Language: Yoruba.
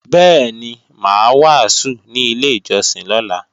Bẹ́ẹ̀ni, mà á wàásù ní ilé ìjọsìn lọ́la